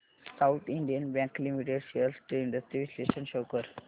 south Indian Bank Limited shares trends चे विश्लेषण शो कर